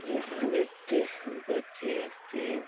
এখানে দেখতে আমি পাচ্ছি এফ টি --